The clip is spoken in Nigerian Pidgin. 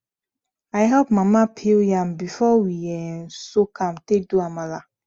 i help mama peel yam before we um soak am take do amala